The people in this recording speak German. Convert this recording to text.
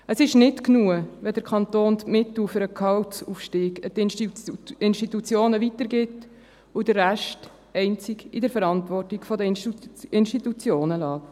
– Es ist nicht genug, wenn der Kanton die Mittel für den Gehaltsaufstieg an die Institutionen weitergibt und den Rest einzig in der Verantwortung der Institutionen lässt.